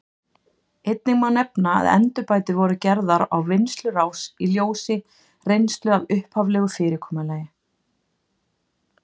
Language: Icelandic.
Einnig má nefna að endurbætur voru gerðar á vinnslurás í ljósi reynslu af upphaflegu fyrirkomulagi.